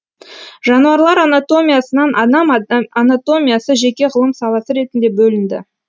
жануарлар анатомиясынан адам анатомиясы жеке ғылым саласы ретінде бөлінді